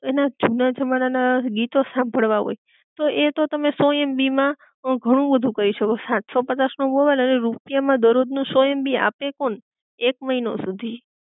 એના જૂના જમાના ના ગીતો સાંભળવા હોય, તો એ તો તમે સો એમબી માં અ ઘણું બધુ કરી શકો, સાતસો પચાસ નો મોબાઈલ અને રૂપિયા માં દરોજ નું સો એમબી આપે કોણ? એક મહિનો સુધી